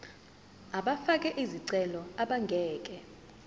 abafake izicelo abangeke